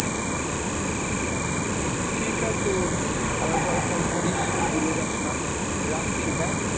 ঠিক আছে উম আবার পরে phone করিস, ভুলে যাস না, রাখছি হ্যাঁ?